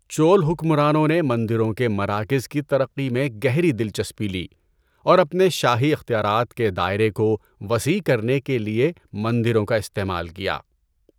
چول حکمرانوں نے مندروں کے مراکز کی ترقی میں گہری دلچسپی لی اور اپنے شاہی اختیارات کے دائرے کو وسیع کرنے کے لیے مندروں کا استعمال کیا۔